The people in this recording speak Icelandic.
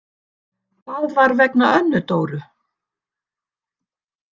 Það var vegna Önnu Dóru.